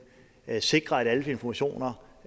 sikrer at alle informationer